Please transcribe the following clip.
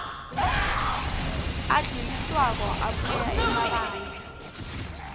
adluliswako abuya emabandla